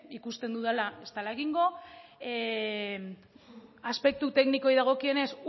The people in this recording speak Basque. ikusten dudala ez dala egingo aspektu teknikoei dagokienez